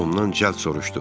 Ondan cəld soruşdu.